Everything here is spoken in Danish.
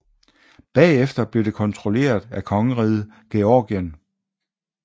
Bagefter blev det kontrolleret af kongeriget Georgien